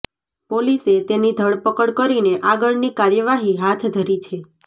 પોલીસે તેની ધરપકડ કરીને આગળની કાર્યવાહી હાથ ધરી છે